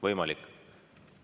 Võimalik.